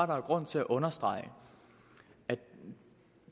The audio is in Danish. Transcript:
der er grund til at understrege at